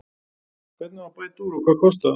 Hvernig á að bæta úr og hvað kostar það?